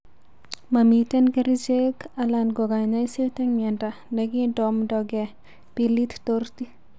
Momiten kerichek alan ko kanyaiset en miondo negindomdoge Pili torti.